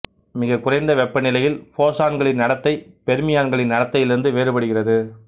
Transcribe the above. மிக குறைந்த வெப்பநிலையில் போஸான்களின் நடத்தை பொ்மியான்களின் நடத்தையிலிருந்து வேறுபடுகிறது